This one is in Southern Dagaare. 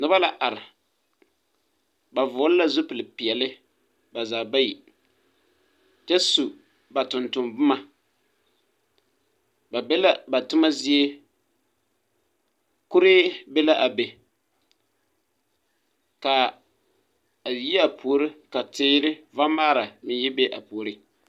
Noba la are ba vɔgle la zupil peɛɛli ba zaa bayi kyɛ su ba tonton bomma ba be la ba tomma zie kuree be la be kaa a yiea puori ka teere vamaara meŋ yi be a puoriŋ.